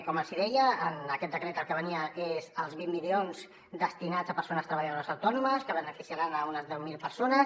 com els deia en aquest decret el que venia és els vint milions destinats a persones treballadores autònomes que beneficiaran unes deu mil persones